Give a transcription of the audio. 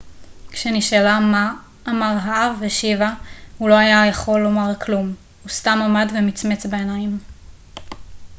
כשנשאלה מה אמר האב השיבה הוא לא היה יכול לומר כלום הוא סתם עמד ומצמץ בעיניים